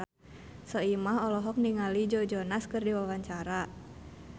Soimah olohok ningali Joe Jonas keur diwawancara